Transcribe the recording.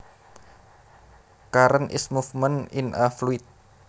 Current is movement in a fluid